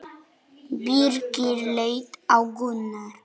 Birkir leit á Gunnar.